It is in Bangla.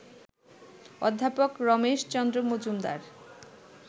অধ্যাপক রমেশচন্দ্র মজুমদার